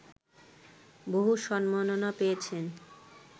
বহু সম্মাননা পেয়েছেন